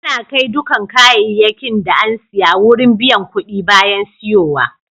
Ana kai dukan kayakin da an siya wurin biyan kuɗi bayan siyowa.